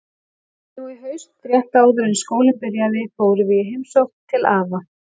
Nú í haust, rétt áður en skólinn byrjaði, fórum við í heimsókn til afa.